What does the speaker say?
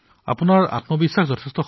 আইচিএছইৰ পৰীক্ষা চলি আছিল